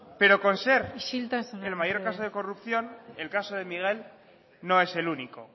pero con ser isiltasuna mesedez el mayor caso de corrupción el caso de miguel no es el único